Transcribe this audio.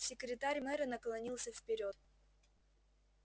секретарь мэра наклонился вперёд